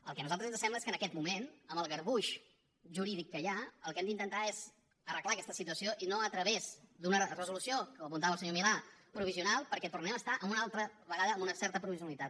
el que a nosaltres ens sembla és que en aquest moment amb el garbuix jurídic que hi ha el que hem d’intentar és arreglar aquesta situació i no a través d’una resolució com apuntava el senyor milà provisional perquè tornem a estar una altra vegada amb una certa provisionalitat